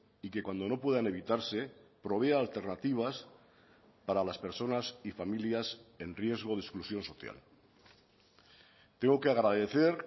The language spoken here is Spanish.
y que cuando no puedan evitarse provea alternativas para las personas y familias en riesgo de exclusión social tengo que agradecer